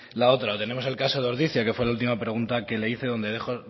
la otra tenemos el caso de ordizia que fue la última pregunta que le hice donde